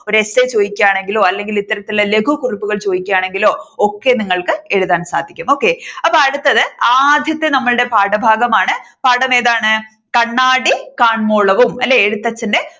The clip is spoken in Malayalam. Essay ചോദിക്കുകയാണെങ്കിലോ അല്ലെങ്കിൽ ഇത്തരത്തിലുള്ള ലഘു കുറുപ്പുൾ ചോദിക്കുകയാണെങ്കിലോ ഒക്കെ നിങ്ങൾക്ക് എഴുതാൻ സാധിക്കും okay. അപ്പോ അടുത്തത് ആദ്യത്തെ നമ്മുടെ പാഠഭാഗമാണ് പാഠം ഏതാണ് കണ്ണാടി കാണ്മോളവും അല്ലേ എഴുത്തച്ഛന്റെ